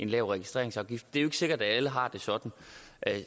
lav registreringsafgift det er ikke sikkert at alle har det sådan